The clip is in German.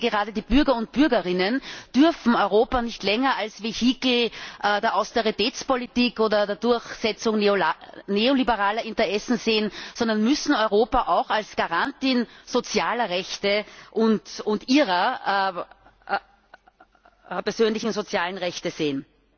Gerade die Bürger und Bürgerinnen dürfen Europa nicht länger als Vehikel der Austeritätspolitik oder der Durchsetzung neoliberaler Interessen sehen, sondern müssen Europa auch als Garanten sozialer Rechte und ihrer persönlichen sozialen Rechte sehen.